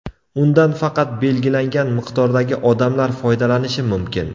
Undan faqat belgilangan miqdordagi odamlar foydalanishi mumkin.